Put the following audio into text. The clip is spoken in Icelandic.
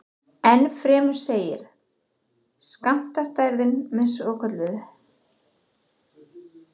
Ennfremur segir skammtafræðin með svokölluðu